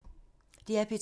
DR P2